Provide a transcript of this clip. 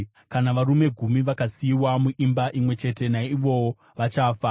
Kana varume gumi vakasiyiwa muimba imwe chete naivowo vachafa.